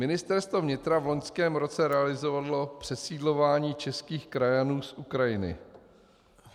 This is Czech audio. Ministerstvo vnitra v loňském roce realizovalo přesídlování českých krajanů z Ukrajiny.